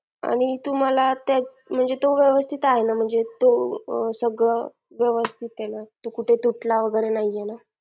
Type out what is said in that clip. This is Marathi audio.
आणि तुम्हाला म्हणजे तो व्यवस्थित आहे ना म्हणजे तो सगळं व्यवस्थित आहे ना तो कुठे तुटला वगैरे नाही ना